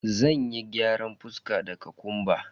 Zanyi gyaran fuska da kokumba.